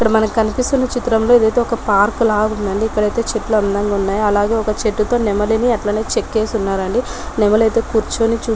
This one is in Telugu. ఇక్కడ మనకి కనిపస్తున్న చిత్రం లో ఇదైతే ఒక పార్క్ లా ఉందండి ఇక్కడైతే చెట్లు అందంగా ఉన్నాయి అట్లాగే ఒక చెట్టుతో నెమలిని అలా చెక్కేసి ఉన్నారండి నెమలి అయితే కూర్చుని చూస్తా ఉంది